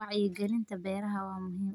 Wacyigelinta beeraha waa muhiim.